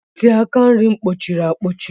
Ntị aka nri m kpọchiri akpọchiere.